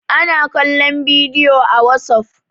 ana kallon bidiyo a wasof